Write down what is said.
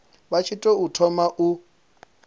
vha tshi tou thoma u